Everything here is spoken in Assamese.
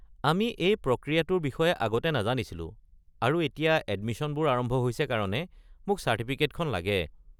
আমি এই প্ৰক্ৰিয়াটোৰ বিষয়ে আগতে নাজানিছিলো আৰু এতিয়া এডমিশ্যনবোৰ আৰম্ভ হৈছে কাৰণে মোক চাৰ্টিফিকেটখন লাগে।